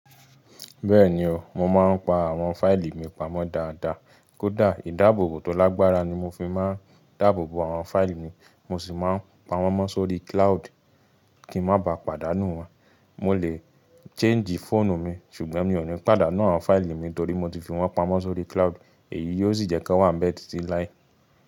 Bẹ́ẹ̀ni o, mo máa ń pa àwọn fáìlì mi pamọ́ dáadáa. Kódà ìdáàbòbò tó lágbára ni mo fi máa ń dáàbò bo àwọn fáìlì mi mo sì máa ń pa wọn mọ sórí cloud kí n má ba pàdánù wọ́n. Mo lè change fóònù mi ṣùgbọ́n mi ò ní pàdánù àwọn fáìlì mi torí mo ti fi wọ́n pamọ́ sórí cloud èyí yóò sì jẹ́ kí wọ́n bẹ́ẹ̀ títí láé.